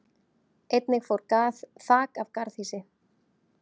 Einnig fór þak af garðhýsi